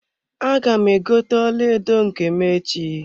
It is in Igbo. Aga m egote ọlaedo nke m echi.